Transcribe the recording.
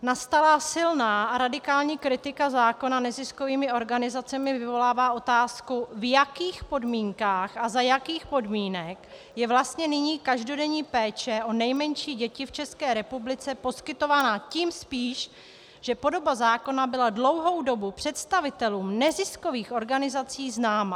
Nastalá silná a radikální kritika zákona neziskovými organizacemi vyvolává otázku, v jakých podmínkách a za jakých podmínek je vlastně nyní každodenní péče o nejmenší děti v České republice poskytována, tím spíš, že podoba zákona byla dlouhou dobu představitelům neziskových organizací známa.